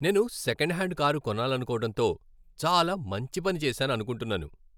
నేను second hand car కొనాలనుకొవటంతో చాలా మంచి పని చేశాననుకుంటున్నాను.